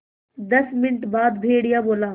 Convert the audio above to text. दस मिनट बाद भेड़िया बोला